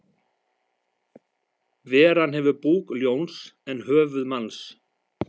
Veran hefur búk ljóns en höfuð manns.